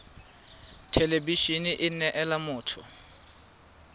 thelebi ene e neela motho